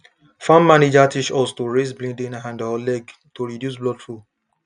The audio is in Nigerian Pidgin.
farm manager teach us to raise bleeding hand or leg to reduce blood flow